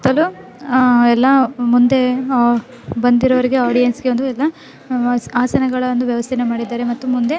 ಸುತ್ತಲೂ ಆ ಎಲ್ಲಾ ಮುಂದೆ ಆಹ್ ಬಂದಿರ್ರೊಗೆ ಆಡಿಯನ್ಸೆ ಒಂದ ಇದನ್ನ ಆಸನದ ವ್ಯವಸ್ಥೆಯನ್ನು ಮಾಡಿದ್ದಾರೆ ಮತ್ತೆ --